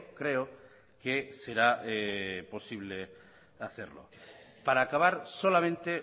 creo que será posible hacerlo para acabar solamente